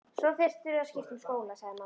Svo þyrftirðu að skipta um skóla sagði mamma.